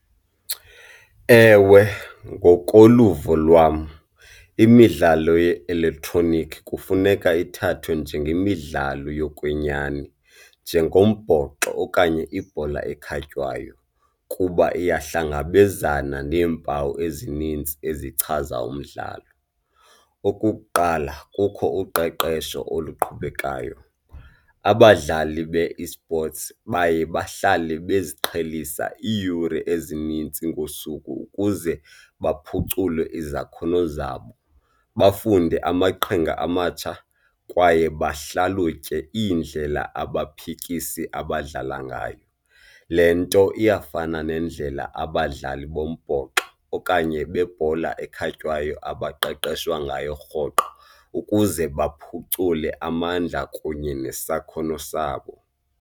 Ewe, ngokoluvo lwam imidlalo ye-elektroniki kufuneka ithathwe njengemidlalo yokwenyani njengombhoxo okanye ibhola ekhatywayo kuba iyahlangabezana neempawu ezinintsi ezichaza umdlalo. Okukuqala, kukho uqeqesho oluqhubekayo, abadlali be-esports baye bahlale baziqhelisa iiyure ezinintsi ngosuku ukuze baphucule izakhono zabo, bafunde amaqhinga amatsha kwaye bahlalelutye iindlela abaphikisi abadlala ngayo. Le nto iyafana nendlela abadlali bombhoxo okanye bebhola ekhatywayo abaqeqeshwa ngayo rhoqo ukuze baphucule amandla kunye nesakhono sabo.